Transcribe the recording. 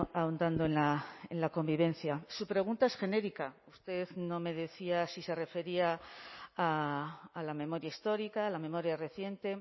ahondando en la convivencia su pregunta es genérica usted no me decía si se refería a la memoria histórica a la memoria reciente